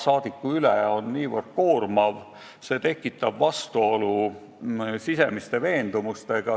See on ülimalt koormav, see tekitab vastuolu sisemiste veendumustega.